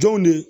Jɔn ne